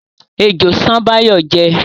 Ejò ṣán Báyọ̀ jẹ́